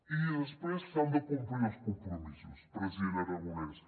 i després s’han de complir els compromisos president aragonès